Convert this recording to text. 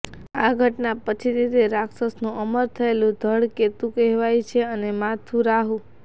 આ ઘટના પછીથી તે રાક્ષસનું અમર થયેલું ધડ કેતુ કહેવાય છે અને માથું રાહુ